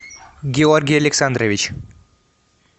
георгий александрович